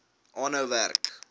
aanhou werk